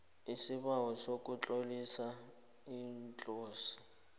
isibawo sokutlolisa iclose